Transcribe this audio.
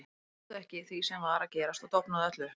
Ég trúði ekki því sem var að gerast og dofnaði öll upp.